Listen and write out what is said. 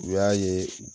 U y'a ye